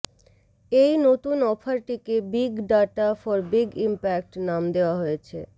এই নতুন অফারটিকে big data for big impact নাম দেওয়া হয়েছে